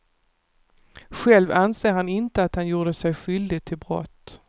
Själv anser han inte att han gjorde sig skyldig till brott.